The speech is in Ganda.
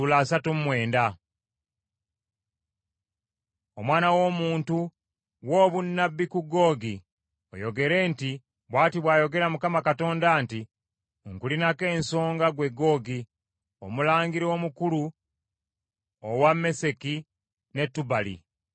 “Omwana w’omuntu, wa obunnabbi ku Googi oyogere nti, ‘Bw’ati bw’ayogera Mukama Katonda nti, Nkulinako ensonga ggwe Googi, omulangira omukulu owa Meseki ne Tubali.